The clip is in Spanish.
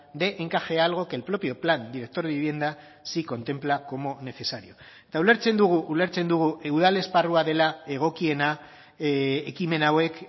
dé encaje a algo que el propio plan director de vivienda sí contempla como necesario eta ulertzen dugu ulertzen dugu udal esparrua dela egokiena ekimen hauek